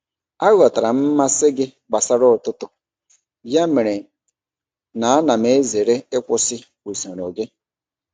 Aghọtara m mmasị gị gbasara ụtụtụ, ya mere na ana m ezere ịkwụsị usoro gị.